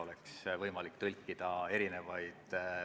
Üks küsimus veel, austatud ettekandja.